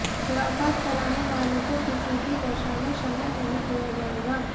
खुराफात फैलाने वालों को किसी भी दशा में क्षम्य नहीं किया जाएगा